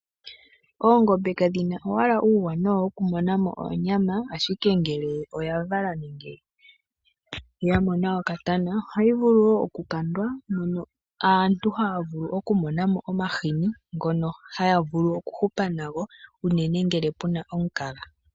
Oongombe kadhina owala uuwanawa woku monamo oonyama ashike ngele oyavala nenge yamona okatana ohayi vulu woo okulandwa mono aantu haya vulu okumonamo omahini ngono haya vulu okuhupa nago unene ngele kuna omukaga.